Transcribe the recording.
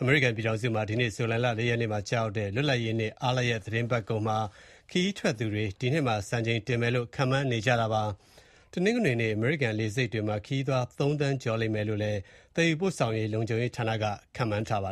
အမေရိကန်ပြည်ထောင်စုမှာ ဒီကနေ့ ဇူလိုင်လ ၄ ရက်နေ့မှာ ကျရောက်တဲ့ လွတ်လပ်ရေးနေ့ အားလပ်ရက် သီတင်းပတ်ကုန်မှာ ခရီးထွက်သူတွေ ဒီနှစ်မှာ စံချိန်တင်မယ်လို့ ခန့်မှန်းနေကြပါတယ်။ တနင်္ဂနွေနေ့ အမေရိကန် လေဆိပ်တွေမှာ ခရီးသွား ၃ သန်းကျော်မယ်လို့လည်း သယ်ယူပို့ဆောင်ရေး လုံခြုံရေးဌာနက ခန့်မှန်းထားတာပါ